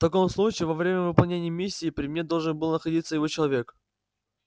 в таком случае во время выполнения миссии при мне должен был находиться его человек